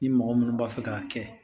Ni mɔgɔ minnu b'a fɛ k'a kɛ